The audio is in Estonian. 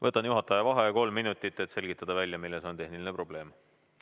Võtan juhataja vaheaja kolm minutit, et selgitada välja, milles on tehniline probleem.